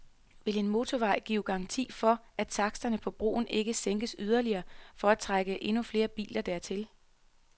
Vil en motorvej give garanti for, at taksterne på broen ikke sænkes yderligere for at trække endnu flere biler dertil?